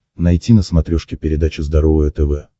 найти на смотрешке передачу здоровое тв